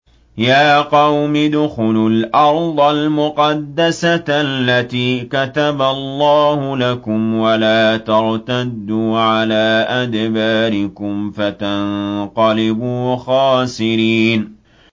يَا قَوْمِ ادْخُلُوا الْأَرْضَ الْمُقَدَّسَةَ الَّتِي كَتَبَ اللَّهُ لَكُمْ وَلَا تَرْتَدُّوا عَلَىٰ أَدْبَارِكُمْ فَتَنقَلِبُوا خَاسِرِينَ